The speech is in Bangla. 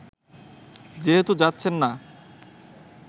যেহেতু যাচ্ছেন না